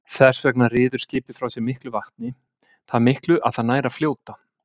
Þess vegna ryður skipið frá sér miklu vatni, það miklu að það nær að fljóta.